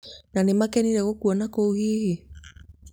na nĩmakenire gũkuona kũu hihi?